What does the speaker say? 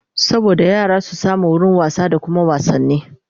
saboda yara su samu wurin wasa da Kuma wasanni